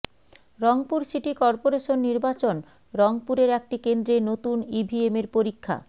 Rangpur city corporation নির্বাচন রংপুরের একটি কেন্দ্রে নতুন ইভিএমের পরীক্ষা